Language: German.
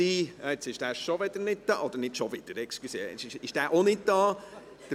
Er ist jetzt schon wieder nicht da – Entschuldigung, jetzt ist er auch nicht da.